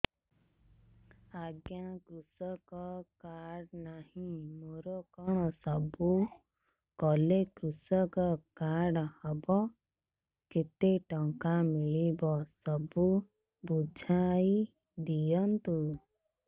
ଆଜ୍ଞା କୃଷକ କାର୍ଡ ନାହିଁ ମୋର କଣ ସବୁ କଲେ କୃଷକ କାର୍ଡ ହବ କେତେ ଟଙ୍କା ମିଳିବ ସବୁ ବୁଝାଇଦିଅନ୍ତୁ